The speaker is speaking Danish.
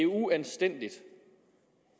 uanstændigt